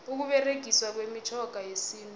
ukuberegiswa kwemitjhoga yesintu